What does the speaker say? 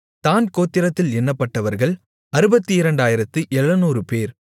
தாண் கோத்திரத்தில் எண்ணப்பட்டவர்கள் 62700 பேர்